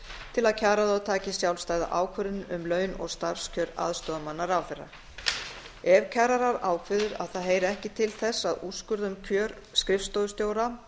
til að kjararáð taki sjálfstæða ákvörðun um laun og starfskjör aðstoðarmanna ráðherra ef kjararáð ákveður að það heyri ekki til þess að úrskurða um kjör skrifstofustjóra